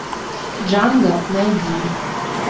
джанго найди